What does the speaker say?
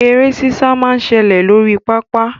Eré sísá máa ń ṣẹlẹ̀ lórí pápá.